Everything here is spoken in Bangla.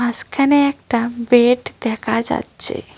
মাসখানে একটা বেড দেখা যাচ্ছে।